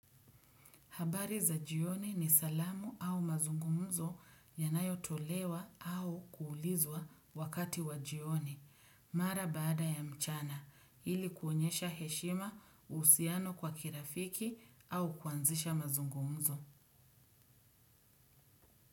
Habari za jioni ni salamu au mazungumzo yanayo tolewa au kuulizwa wakati wa jioni, mara baada ya mchana, ili kuonyesha heshima usiano kwa kirafiki au kuanzisha mazungumzo.